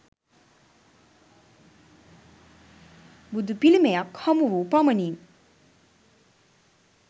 බුදු පිළිමයක් හමුවූ පමණින්